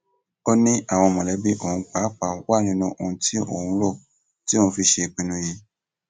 ó ní àwọn mọlẹbí òun pàápàá wà nínú òun tí òun rò tí òun fi ṣe ìpinnu yìí